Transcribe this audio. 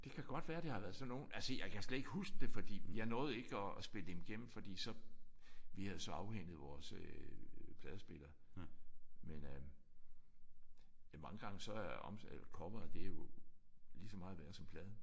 Det kan godt være at det har været sådan nogle altså jeg kan slet ikke huske det fordi jeg nåede ikke at at spille dem igennem fordi så vi havde så afhentet vores pladespiller men øh det er mange gange så er omslaget eller coveret det er jo lige så meget værd som pladen